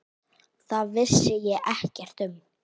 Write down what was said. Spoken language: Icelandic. Það vissi ég ekkert um.